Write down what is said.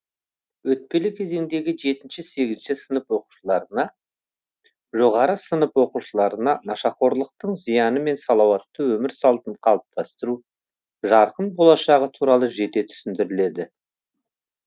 өтпелі кезеңдегі жетінші сегізінші сынып оқушыларына жоғары сынып оқушыларына нашақорлықтың зияны мен салауатты өмір салтын қалыптастыру жарқын болашағы туралы жете түсіндіріледі